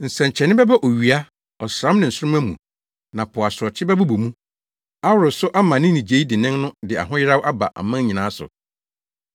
“Nsɛnkyerɛnne bɛba owia, ɔsram ne nsoromma mu na po asorɔkye bɛbobɔ mu, aworo so ama ne nnyigyei dennen no de ahoyeraw aba aman nyinaa so.